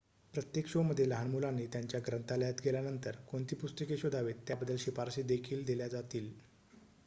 प्रत्येक शोमध्ये लहान मुलांनी त्यांच्या ग्रंथालयात गेल्यानंतर कोणती पुस्तके शोधावीत त्याबद्दल शिफारशी देखील दिल्या जातील